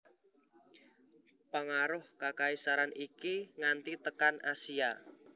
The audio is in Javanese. Pangaruh kakaisaran iki nganti tekan Asia